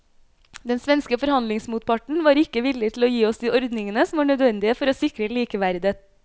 Den svenske forhandlingsmotparten var ikke villig til å gi oss de ordningene som var nødvendige for å sikre likeverdet.